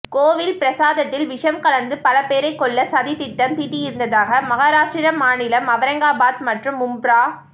கோவில் பிரசாதத்தில் விஷம் கலந்து பல பேரை கொல்ல சதி திட்டம் தீட்டியிருந்ததாக மஹாராஷ்டிர மாநிலம் அவரங்காபாத் மற்றும் மும்ப்ரா